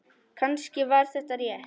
Kannski var þetta rétt.